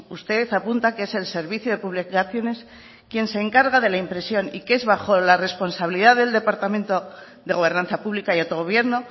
usted apunta que es el servicio de publicaciones quien se encarga de la impresión y que es bajo la responsabilidad del departamento de gobernanza pública y autogobierno